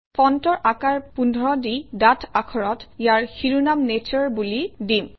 ফণ্টৰ আকাৰ ১৫ দি ডাঠ আখৰত ইয়াৰ শিৰোনাম নাটোৰে বুলি দিম